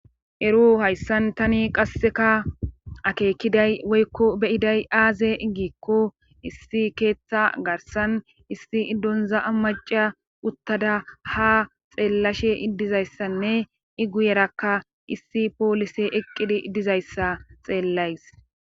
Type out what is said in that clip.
eru hayssan tani qasseka akeekiday woykko beyiday aaze iggikko issi keeththa garsan issi iddonza ammaca uttada ha xeellashe idizayssanne i guyerakka issi poolise eqqidi dizayssa xeellays